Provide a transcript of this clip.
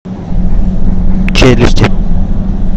челюсти